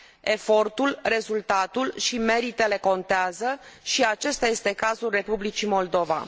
Efortul, rezultatul și meritele contează și acesta este cazul Republicii Moldova.